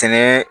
Sɛnɛ